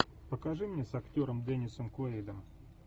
покажи мне с актером деннисом куэйдом